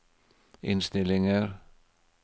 innstillinger